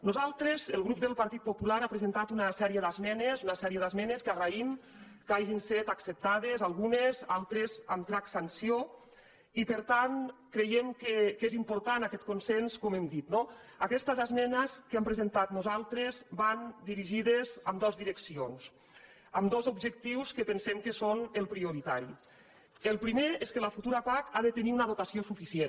nosaltres el grup del partit popular hem presentat una sèrie d’esmenes que agraïm que n’hagin estat acceptades algunes altres amb transacció i per tant creiem que és important aquest consens com hem dit no aquestes esmenes que hem presentat nosaltres van dirigides en dues direccions amb dos objectius que pensem que són els prioritaris el primer és que la futura pac ha de tenir una dotació suficient